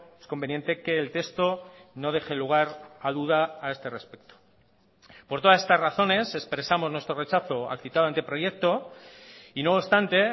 es conveniente que el texto no deje lugar a duda a este respecto por todas estas razones expresamos nuestro rechazo al citado anteproyecto y no obstante